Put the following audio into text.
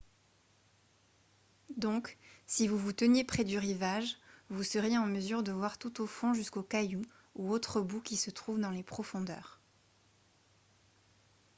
donc si vous vous teniez près du rivage vous seriez en mesure de voir tout au fond jusqu'aux cailloux ou autres boues qui se trouvent dans les profondeurs